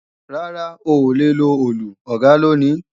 Rárá, oòlè lo Òòlù, Ọ̀gá ló ní